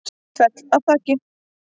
Féll af þaki